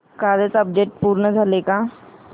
कालचं अपडेट पूर्ण झालंय का